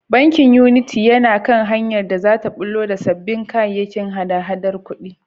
Bankin Unity yana kan hanyar da za ta ɓullo da sabbin kayayyakin hada-hadar kuɗi.